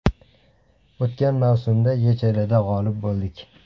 O‘tgan mavsumda YChLda g‘olib bo‘ldik.